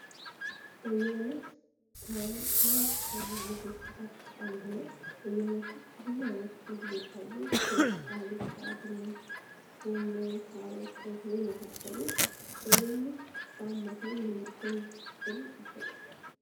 በየአይነት ከታዋቂ ምግቦች መካከል አንዱ ነው። በየአይነት ውስጥ ብዙ አይነት ምግቦች አሉ። ክክ አልጫ ድንች ጎመን ካሮት ቀይስር የመሳሰሉት በየአይነት በአማካይ ስንት ብር ይሸጣል?